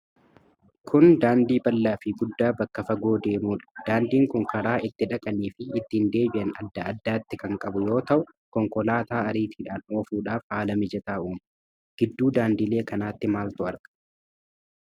Kun daandii bal'aa fi guddaa bakka fagoo deemudha. Daandiin kun karaa ittii dhaqanii fii ittiin deebi'an adda addatti kan qabu yoo ta'u, konkolaataa ariitidhaan oofudhaaf haala mijataa uuma. Gidduu daandilee kanaatti maaltu argama?